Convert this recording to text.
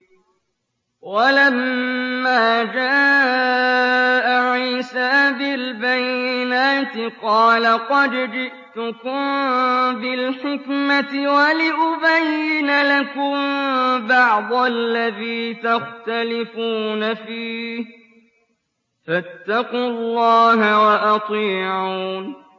وَلَمَّا جَاءَ عِيسَىٰ بِالْبَيِّنَاتِ قَالَ قَدْ جِئْتُكُم بِالْحِكْمَةِ وَلِأُبَيِّنَ لَكُم بَعْضَ الَّذِي تَخْتَلِفُونَ فِيهِ ۖ فَاتَّقُوا اللَّهَ وَأَطِيعُونِ